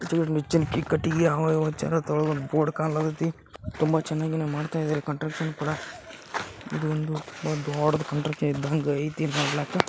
ತುಂಬ ಚೆನ್ನಾಗೆ ಮಾಡ್ತಾ ಇದಾರೆ ಕಾಂಟ್ರಕ್ಷನ್ ಕೂಡ ಇದು ದೊಡ್ಡ್ ಕನ್ಸ್ಟ್ರಕ್ಷನ್ ಇದ್ದಂಗ ಅಯ್ತಿ ನೋಡ್ಲಾಕ .